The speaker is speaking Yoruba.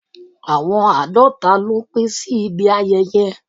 Àwọn àádọ́ta ló pé sí ibi ayẹyẹ.